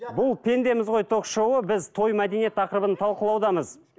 бұл пендеміз ғой ток шоуы біз той мәдениет тақырыбын талқылаудамыз